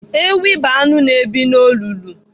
Ewi bụ anụ na-ebi n'olulu.